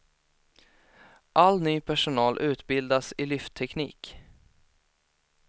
All ny personal utbildas i lyftteknik.